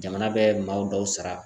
Jamana bɛ maaw dɔw sara.